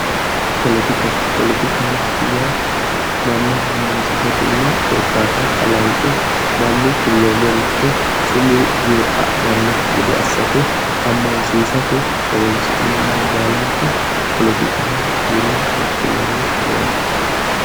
Poletika, poletikaho yaa manna ammansiisate yine korkaata kalanqe mannu kulloommoricho sumuu yee adhanno gede assate ammansiisate horonsi'neemmoha baalanka polotikaho yine woshshinanni yaate.